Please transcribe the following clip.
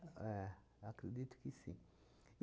É, eu acredito que sim.